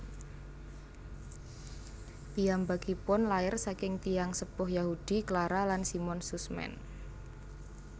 Piyambakipun lair saking tiyang sepuh Yahudi Clara lan Simon Sussman